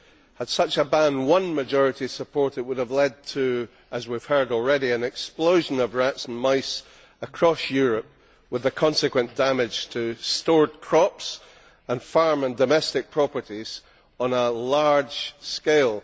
Had such a ban won majority support, it would have led as we have heard already to an explosion of rats and mice across Europe, with the consequent damage to stored crops, farms and domestic properties on a large scale.